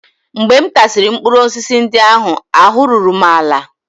Mgbe m tasịrị mkpụrụ osisi ndị ahụ, ahụ́ ruru m ala